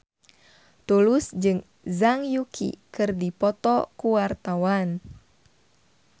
Tulus jeung Zhang Yuqi keur dipoto ku wartawan